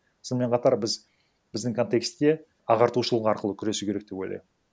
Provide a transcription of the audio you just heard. сонымен қатар біз біздің контекстте ағартушылық арқылы күресу керек деп ойлаймын